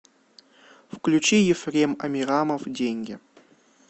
включи ефрем амирамов деньги